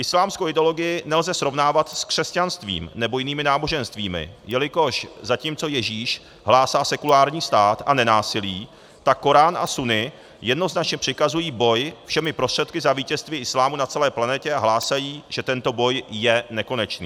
Islámskou ideologii nelze srovnávat s křesťanstvím nebo jinými náboženstvími, jelikož zatímco Ježíš hlásá sekulární stát a nenásilí, tak Korán a Sunna jednoznačně přikazují boj všemi prostředky za vítězství islámu na celé planetě a hlásají, že tento boj je nekonečný.